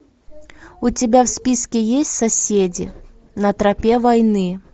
у тебя в списке есть соседи на тропе войны